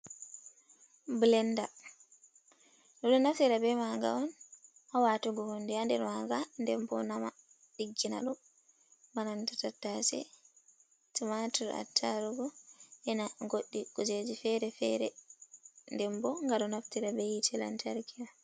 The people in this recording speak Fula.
Ɓilanda ɓe ɗo naftira be maga on haa watugo hunde haa nder manga nden bo nama ɗiggina ɗum, bananta tattace, tumatur, attarugu, e na goɗɗi kujeji fere-fere, nden bo ngaɗo naftira be hiite lantarki on.